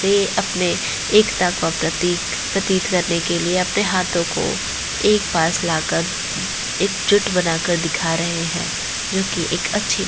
ये अपने एकता का प्रतीक प्रतीत करने के लिए अपने हाथो को एक पास लाकर एक जुट बना कर दिखा रहे है जोकि एक अच्छी --